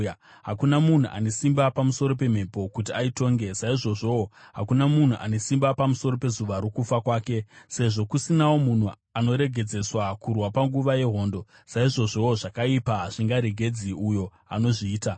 Hakuna munhu ane simba pamusoro pemhepo kuti aitonge; saizvozvowo hakuna munhu ane simba pamusoro pezuva rokufa kwake. Sezvo kusinawo munhu anoregedzeswa kurwa panguva yehondo, saizvozvowo zvakaipa hazvingaregedzi uyo anozviita.